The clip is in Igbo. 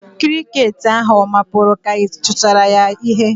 Kirikeeti ahu ọ mapụru ka ị kụchara ya ihe?